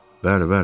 Bəli, bəli.